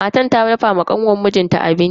Matar ta dafa wa kanwan mijin ta abinci.